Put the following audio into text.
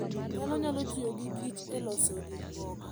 Dhano nyalo tiyo gi kich e loso gik moko.